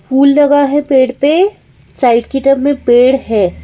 फूल लगा है पेड़ पे साइड की तरफ में पेड़ है।